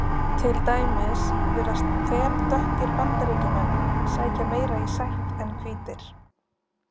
Til dæmis virðast þeldökkir Bandaríkjamenn sækja meira í sætt en hvítir.